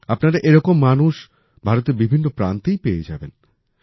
আপনারা এরকম মানুষ ভারতের বিভিন্ন প্রান্তেই পেয়ে যাবেন